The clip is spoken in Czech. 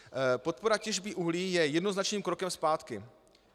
Podpora těžby uhlí je jednoznačným krokem zpátky.